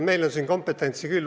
Meil on siin kompetentsi küll.